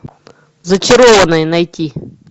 зачарованные найти